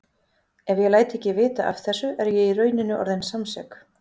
Ef ég læt ekki vita af þessu er ég í rauninni orðin samsek.